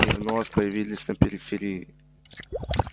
и вновь появились на периферии